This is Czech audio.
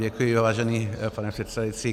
Děkuji, vážený pane předsedající.